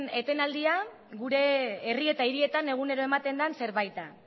etenaldia gure herri eta hirietan egunero ematen den zerbait da